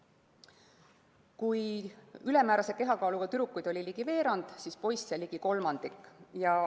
Kui ülemäärase kehakaaluga tüdrukuid oli ligi veerand, siis poisse ligi kolmandik.